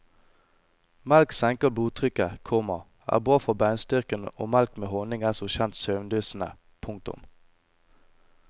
Melk senker blodtrykket, komma er bra for beinstyrken og melk med honning er som kjent søvndyssende. punktum